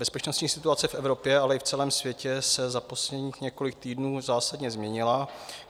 Bezpečnostní situace v Evropě, ale i v celém světě se za posledních několik týdnů zásadně změnila.